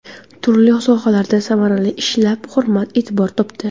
Turli sohalarda samarali ishlab hurmat-e’tibor topdi.